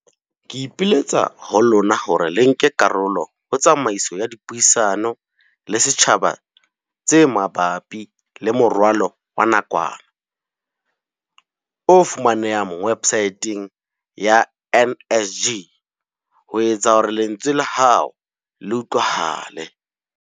Ke ipiletsa ho lona hore le nke karolo ho tsamaiso ya dipuisano le setjhaba tse ma bapi le moralo wa nakwana, o fumanehang websaeteng ya NSG, ho etsa hore lentswe la hao le utlwahale.